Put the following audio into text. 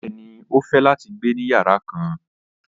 Bẹ́ẹ̀ni, o fẹ́ láti gbẹ̀ ní yàrà kán.